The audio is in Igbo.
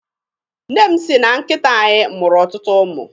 Nne m sị na nkịta anyị mụrụ ọtụtụ ụmụ.